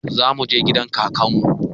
Za muje gidan kakan mu